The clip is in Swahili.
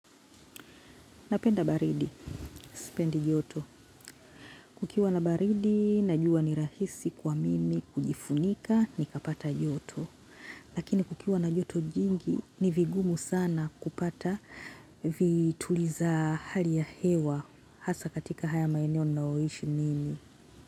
Napenda baridi, sipendi joto. Kukiwa na baridi, najua ni rahisi kwa mimi, kujifunika, nikapata joto. Lakini kukiwa na joto jingi, ni vigumu sana kupata vituliza hali ya hewa. Hasa katika haya maeneo ninayoishi mimi.